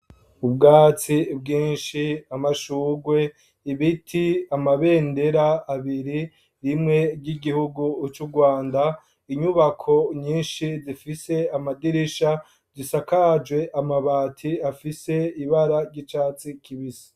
Ubwatsi bwinshi amashugwe ibiti amabendera abiri rimwe ry'igihugu c'u rwanda inyubako nyinshi zifise amadirisha gisakajwe amabati afise ibara ry'icatsi kibisi.